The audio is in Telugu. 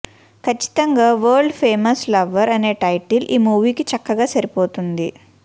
ఖచ్చితంగా వరల్డ్ ఫేమస్ లవర్ అనే టైటిల్ ఈ మూవీకి చక్కగా సరిపోతుంది